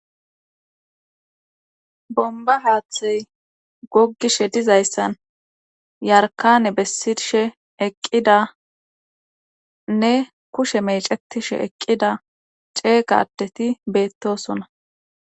bomba haaththey goggishe dizayssan yarkane bessirshe eqqidanne kushe mecetishe eqqida ceeqadeti beettosona